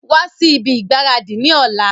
Wa si ibi ìgbáradì ni ọ̀la!